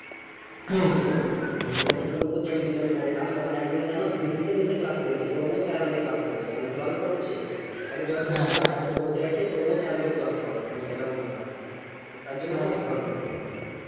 আমি যখন সন্তোষপুর JM বিদ্যাপীঠে পড়তাম তখন একদিনকে জানো ভিজতে ভিজতে class করেছি, তবুও sir আমাদিকে class করিয়েছে মানে জল পড়ছে side এ জল পড়ছে আমরা side এ বসে আছি তবুও sir বলছে class কর মানে এইরকম ব্যাপার